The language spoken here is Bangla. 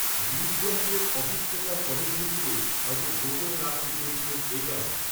হৃদযন্ত্রের, অসুস্থতার পদধ্বনিকেও, হয়তো গোপন রাখতে চেয়েছিলেন, এ কারণেই